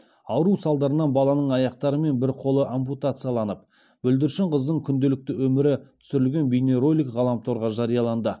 ауру салдарынан баланың аяқтары мен бір қолы ампутацияланып бүлдіршін қыздың күнделікті өмірі түсірілген бейнеролик ғаламторға жарияланды